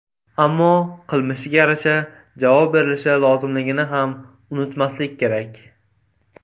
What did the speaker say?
Ammo qilmishga yarasha javob berilishi lozimligini ham unutmaslik kerak.